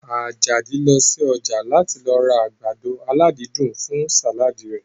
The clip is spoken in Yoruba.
Àjàdí lọ sí ọjà láti lọ ra àgbàdo aládídùn fún sàládì rẹ̀